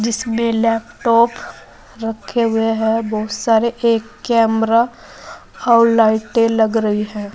इसमें लैपटॉप रखे हुए हैं बहुत सारे एक कैमरा और लाइटें लग रही है।